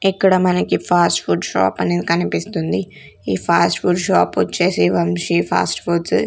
ఇక్కడ మనకి fast food shop అనేది కనిపిస్తుంది ఈ ఫాస్ట్ ఫుడ్ షాప్ వచ్చేసి వంశీ ఫాస్ట్ ఫుడ్సు .